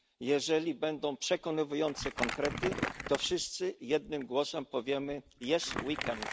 Jeżeli będą przekonujące konkrety, to wszyscy jednym głosem powiemy jest weekend.